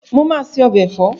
Mo máa se ọbẹ̀ ẹ̀fọ́